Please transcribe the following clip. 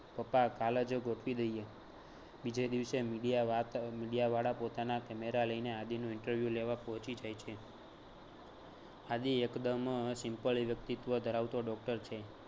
પપ્પા કાલ જ ગોઠવી દઈએ. બીજે દિવસે media વાત media વાળા પોતાના camera લઈને આદિનું interview લેવા પોચી જાય છે. આદી એકદમ simple વ્યક્તિત્વ ધરાવતો doctor છે